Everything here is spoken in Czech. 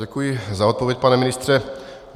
Děkuji za odpověď, pane ministře.